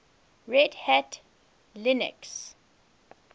red hat linux